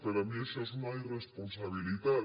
per a mi això és una irresponsabilitat